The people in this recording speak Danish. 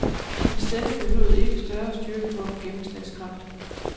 Hans stemme behøvede ikke større styrke for at få gennemslagskraft.